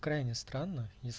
крайне странно